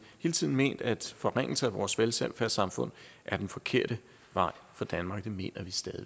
hele tiden ment at forringelser af vores velfærdssamfund er den forkerte vej for danmark det mener vi stadig